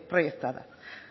proyectada